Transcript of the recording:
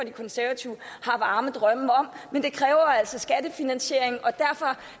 konservative har varme drømme om men det kræver altså skattefinansiering og derfor